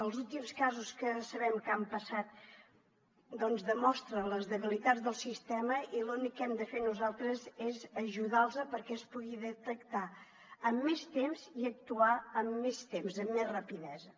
els últims casos que sabem que han passat demostren les debilitats del sistema i l’únic que hem de fer nosaltres és ajudar les perquè es puguin detectar amb més temps i actuar amb més temps amb més rapidesa